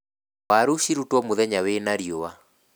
Waru cirutwo mũthenya wĩna riũa